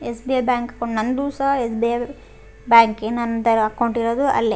SBI bank ನಂದು ಸಹ SBI ಬ್ಯಾಂಕಿನ ತರಹ ಅಕೌಂಟ್ ಇರೋದು ಅಲ್ಲೇ.